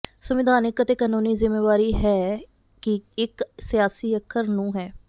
ਸੰਵਿਧਾਨਕ ਅਤੇ ਕਾਨੂੰਨੀ ਜ਼ਿੰਮੇਵਾਰੀ ਹੈ ਕਿ ਇੱਕ ਸਿਆਸੀ ਅੱਖਰ ਨੂੰ ਹੈ